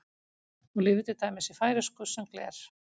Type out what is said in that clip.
Hún lifir til dæmis í færeysku sem gler.